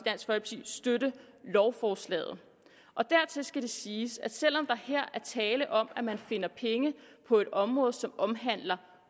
støtte lovforslaget dertil skal siges at selv om der her er tale om at man finder penge på et område som omhandler